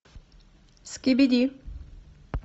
скибиди